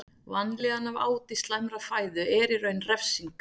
Vanlíðan af áti slæmrar fæðu er í raun refsing.